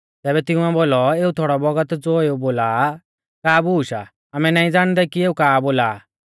तैबै तिंउऐ बोलौ एऊ थोड़ौ बौगत ज़ो एऊ बोला आ का बूश आ आमै नाईं ज़ाणदै की एऊ का बौल़ा आ